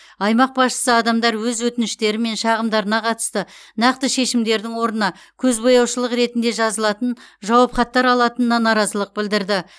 аймақ басшысы адамдар өз өтініштері мен шағымдарына қатысты нақты шешімдердің орнына көзбояушылық ретінде жазылатын жауапхаттар алатынына наразылық білдірді